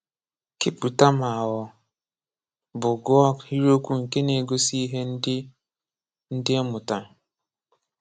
Képụta ma ọ bụ gụọ ahịrịokwu nke na-egosị ihe ndị e ndị e mụtara.